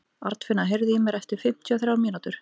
Arnfinna, heyrðu í mér eftir fimmtíu og þrjár mínútur.